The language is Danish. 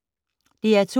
DR2